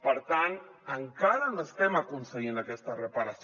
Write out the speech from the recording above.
per tant encara no estem aconseguint aquesta reparació